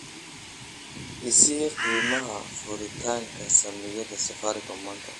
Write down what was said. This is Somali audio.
i sii qiimaha furitaanka saamiyada safaricom maanta